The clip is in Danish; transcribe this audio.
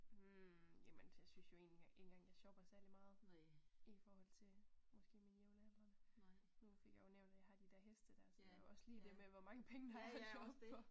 Hm jamen jeg synes jo ikke engang jeg shopper særlig meget i forhold til måske mine jævnaldrene nu fik jeg jo nævnt at jeg har de der heste der så det jo også lige det med hvor mange penge der er at shoppe for